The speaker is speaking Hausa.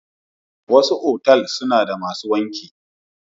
Wasu otal suna da masu wanki.